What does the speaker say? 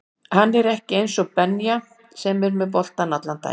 Hann er ekki eins og Benja sem er með boltann allan daginn